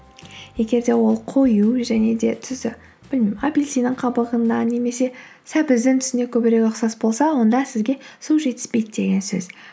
егер де ол қою және де түсі білмеймін апельсинның қабығына немесе сәбіздің түсіне көбірек ұқсас болса онда сізге су жетіспейді деген сөз